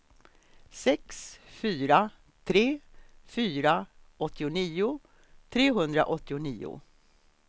sex fyra tre fyra åttionio trehundraåttionio